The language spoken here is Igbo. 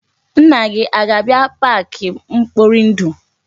Nna gị a ga-abia park mkporindu?